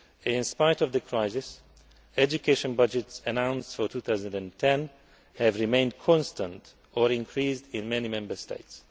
In spite of the crisis, education budgets announced for 2010 have remained constant or increased in many Member States.